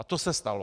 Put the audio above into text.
A to se stalo.